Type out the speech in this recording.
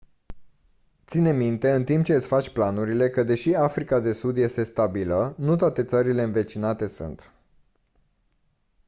ține minte în timp ce îți faci planurile că deși africa de sud este stabilă nu toate țările învecinate sunt